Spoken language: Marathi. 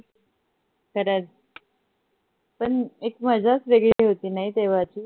खरच पण एक मजाच वेगळी होती नाही तेव्हाची